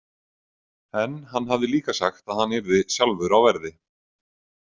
En hann hafði líka sagt að hann yrði sjálfur á verði.